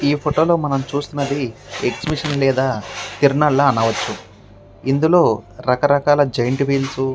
ఈ ఫోటో లో మనం చూస్తున్నది ఎక్సిబిషన్ లేదా తిరునాళ్ల లా అనవచ్చు. ఇందులో రకరకాల జైన్ట్విల్ --